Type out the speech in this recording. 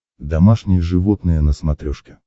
домашние животные на смотрешке